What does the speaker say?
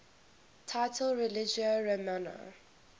title religio romana